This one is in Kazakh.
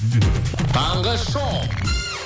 таңғы шоу